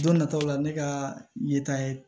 Don nataw la ne ka yeta ye